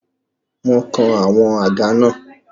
Mo kan àwọn àga náà.